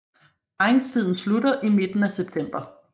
Parringstiden slutter i midten af september